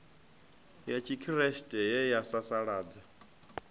ya tshikriste ye ya sasaladza